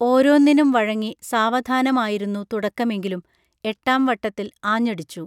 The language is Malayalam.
ഓരോന്നിനും വഴങ്ങി സാവധാനമായിരുന്നു തുടക്കമെങ്കിലും എട്ടാം വട്ടത്തിൽ ആഞ്ഞടിച്ചു